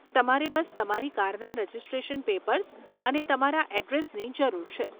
તમારે બસ તમારી કારના રજીસ્ટ્રેશન પેપર્સ અને તમારા અડ્રેસની જરૂર છે.